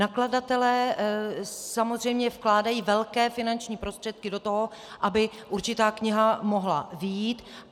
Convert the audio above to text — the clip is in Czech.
Nakladatelé samozřejmě vkládají velké finanční prostředky do toho, aby určitá kniha mohla vyjít.